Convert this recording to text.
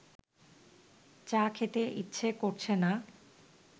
চা খেতে ইচ্ছে করছে না